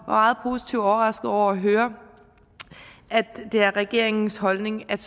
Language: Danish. meget positivt overrasket over at høre at det er regeringens holdning at